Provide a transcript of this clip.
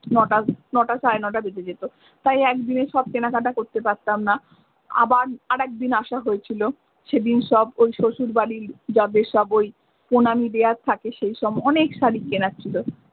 নয়টা সাড়ে নয়টা বেজে যেতো তাই এক দিনে সব কেনাকাটা করতে পারতাম না আবার আর একদিন আসা হয়েছিল সেই দিন সব ওই শ্বশুর বাড়ি যাদের সব ওই প্রণামী দেওয়ার থাকে সেই সব অনেক শাড়ি কেনার ছিল।